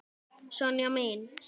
Sonja mín.